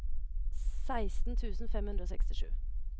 seksten tusen fem hundre og sekstisju